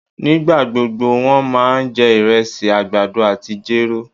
Nígbagbógbó wón ma jẹ irésì, àgbàdo àtí jéró